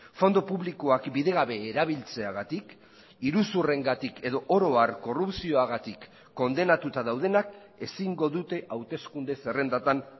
fondo publikoak bidegabe erabiltzeagatik iruzurrengatik edo oro har korrupzioagatik kondenatuta daudenak ezingo dute hauteskunde zerrendatan